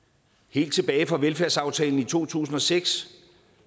helt tilbage fra velfærdsaftalen i to tusind og seks